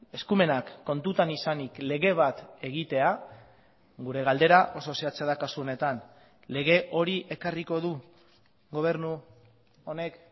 eskumenak kontutan izanik lege bat egitea gure galdera oso zehatza da kasu honetan lege hori ekarriko du gobernu honek